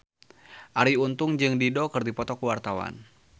Arie Untung jeung Dido keur dipoto ku wartawan